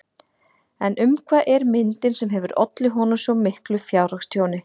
En um hvað er myndin sem hefur ollið honum svo miklu fjárhagstjóni?